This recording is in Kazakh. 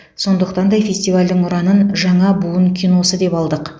сондықтан да фестивальдің ұранын жаңа буын киносы деп алдық